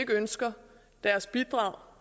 ønsker deres bidrag